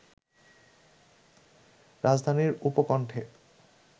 রাজধানীর উপকণ্ঠে